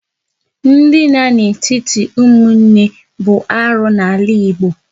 Ndina n'etiti ụmụnne bụ arụ n'ala Igbo